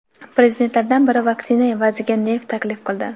Prezidentlardan biri vaksina evaziga neft taklif qildi.